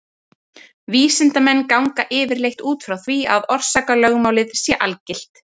Vísindamenn ganga yfirleitt út frá því að orsakalögmálið sé algilt.